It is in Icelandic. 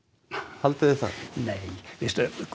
haldið þið það nei veistu